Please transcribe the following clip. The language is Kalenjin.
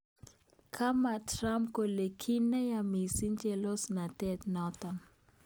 Kama Trump kole ki neya missing chelesosnatet notok.